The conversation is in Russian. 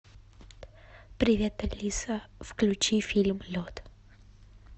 привет алиса включи фильм лед